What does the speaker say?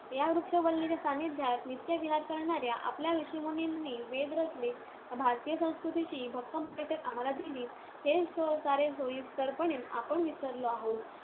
याच वृक्षवल्लींच्या सान्निध्यात नित्य विहार करणाऱ्या आपल्या ऋषिमुनींनी वेद रचले. भारतीय संस्कृतीची भक्कम बैठक आम्हांला दिली, हे सारे सोयीस्करपणे आपण विसरलो आहोत.